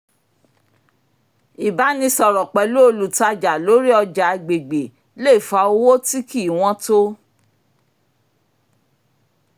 ìbánisọ̀rọ̀ pẹ̀lú olùtajà lórí ọjà agbègbè le fa owó tí kì í wọ́n tó